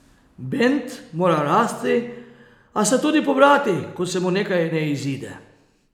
Bend mora rasti, a se tudi pobrati, ko se mu nekaj ne izide.